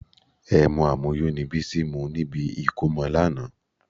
Ẹmu àmuyó ni Bísí mu níbi ìkómọ lánàá